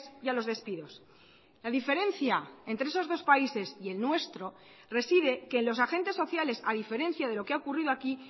y a los despidos la diferencia entre esos dos países y el nuestro reside que los agentes sociales a diferencia de lo que ha ocurrido aquí